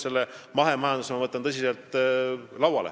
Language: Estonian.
Selle mahemajanduse teema ma võtan tõsiselt lauale.